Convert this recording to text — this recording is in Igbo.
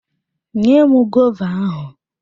Nyem gova ahụ!